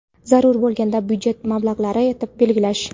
zarur bo‘lganda byudjet mablag‘lari etib belgilash;.